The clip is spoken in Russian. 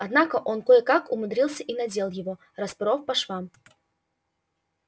однако он кое-как умудрился и надел его распоров по швам